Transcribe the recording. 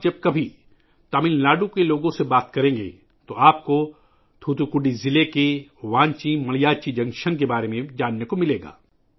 جب بھی آپ تمل ناڈو کے لوگوں سے بات کریں گے، آپ کو تھوتھکوڈی ضلع کے وانچی مانیاچی جنکشن کے بارے میں سننے کو ملے گا